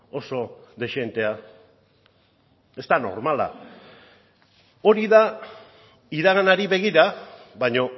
oso dezentea ez da normala hori da iraganari begira baina